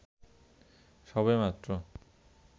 সবে মাত্র